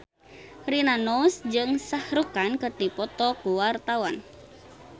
Rina Nose jeung Shah Rukh Khan keur dipoto ku wartawan